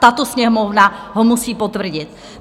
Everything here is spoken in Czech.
Tato Sněmovna ho musí potvrdit.